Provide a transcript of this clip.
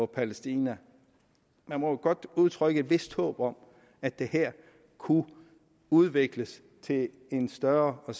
palæstina man må jo godt udtrykke et vist håb om at det her kunne udvikles til en større og